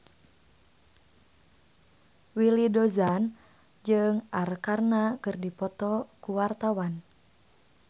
Willy Dozan jeung Arkarna keur dipoto ku wartawan